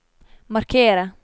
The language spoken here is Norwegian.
markere